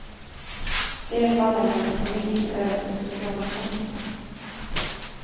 De fallen lämnar polisen över till socialtjänsten.